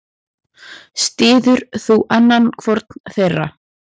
Styður þú annan hvorn þeirra?